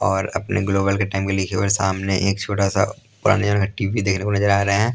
और अपने ग्लोबल के टाइम के लिखे हुए सामने एक छोटा सा पुराने जमाने का टी_वी देखने को नजर आ रहा है ।